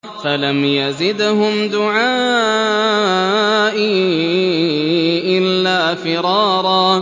فَلَمْ يَزِدْهُمْ دُعَائِي إِلَّا فِرَارًا